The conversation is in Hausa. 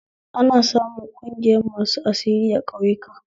Ana samun ƙungiyar masu asiri a ƙauyaku